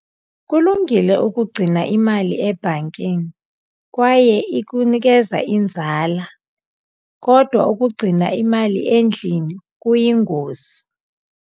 Kulungile ukugcina imali ebhankini kwaye ikunikeza inzala, kodwa ukugcina imali endlini kuyingozi.